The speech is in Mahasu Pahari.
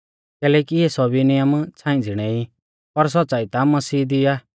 कैलैकि इऐ सौभी नियम छ़ांई ज़िणै ई पर सौच़्च़ाई ता मसीह दी आ